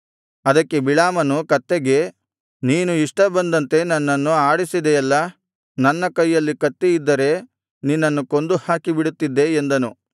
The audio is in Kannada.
ಅದಕ್ಕೆ ಬಿಳಾಮನು ಕತ್ತೆಗೆ ನೀನು ಇಷ್ಟ ಬಂದಂತೆ ನನ್ನನ್ನು ಆಡಿಸಿದೆಯಲ್ಲಾ ನನ್ನ ಕೈಯಲ್ಲಿ ಕತ್ತಿಯಿದ್ದರೆ ನಿನ್ನನ್ನು ಕೊಂದು ಹಾಕಿಬಿಡುತ್ತಿದ್ದೆ ಎಂದನು